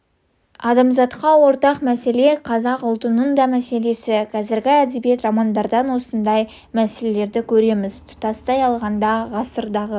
адамзатқа ортақ мәселе қазақ ұлтының да мәселесі қазіргі әдебиет романдардан осындай мәселелерді көреміз тұтастай алғанда ғасырдағы